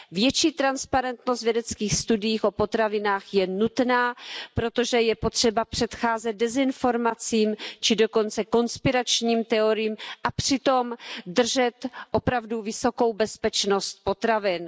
Větší transparentnost vědeckých studií o potravinách je nutná, protože je potřeba předcházet dezinformacím či dokonce konspiračním teoriím a přitom držet opravdu vysokou bezpečnost potravin.